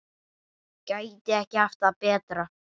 Gæti ekki haft það betra.